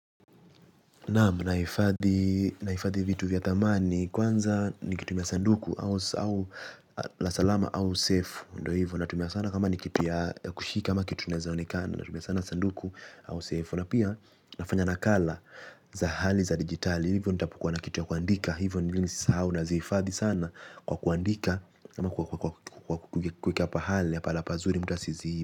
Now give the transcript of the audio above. Naam naifadhi vitu vya thamani kwanza nikitumia sanduku au la salama au safe. Ndo hivyo natumia sana kama nikitu ya kushika kama kitu naezonekana. Natumia sana sanduku au safe. Na pia nafanya nakala za hali za digitali. Hivyo nitapokua na kitu ya kuandika hivyo nilini sisa hau na zifadhi sana. Kwa kuandika kwa kuweka pahali ya palapazuri mtu asiziibe.